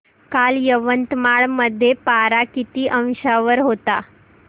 काल यवतमाळ मध्ये पारा किती अंशावर होता